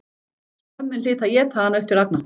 Skömmin hlyti að éta hana upp til agna.